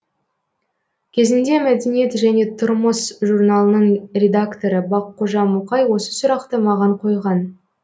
кезінде мәдениет және тұрмыс журналының редакторы баққожа мұқай осы сұрақты маған қойған